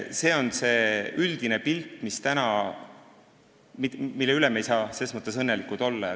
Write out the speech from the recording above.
See on see üldine pilt, mille üle me ei saa selles mõttes õnnelikud olla.